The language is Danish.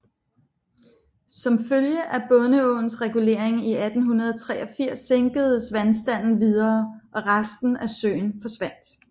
Som følge af Bondeåens regulering i 1883 sænkedes vandstanden videre og resten af søen forsvandt